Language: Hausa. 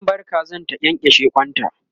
zan bar Kazan ta kyankyashe kwanta